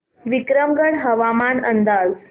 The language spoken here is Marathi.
विक्रमगड हवामान अंदाज